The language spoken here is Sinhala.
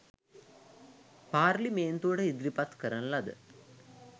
පාර්ලිමේන්තුවට ඉදිරිපත් කරන ලද